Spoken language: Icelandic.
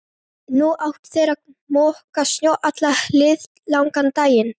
Nú áttu þeir að moka snjó allan liðlangan daginn.